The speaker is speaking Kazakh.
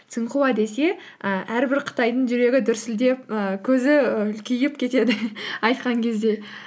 цинхуа десе і әрбір қытайдың жүрегі дүрсілдеп і көзі і үлкейіп кетеді айтқан кезде